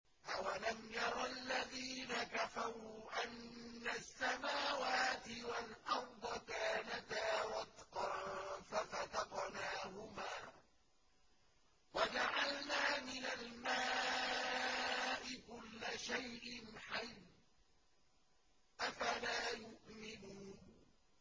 أَوَلَمْ يَرَ الَّذِينَ كَفَرُوا أَنَّ السَّمَاوَاتِ وَالْأَرْضَ كَانَتَا رَتْقًا فَفَتَقْنَاهُمَا ۖ وَجَعَلْنَا مِنَ الْمَاءِ كُلَّ شَيْءٍ حَيٍّ ۖ أَفَلَا يُؤْمِنُونَ